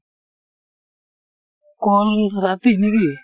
কল ৰাতি নেকি ?